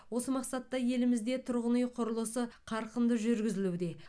осы мақсатта елімізде тұрғын үй құрылысы қарқынды жүргізілуде